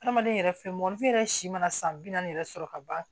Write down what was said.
Adamaden yɛrɛ fɛn mɔgɔninfin yɛrɛ si mana san bi naani yɛrɛ sɔrɔ ka ban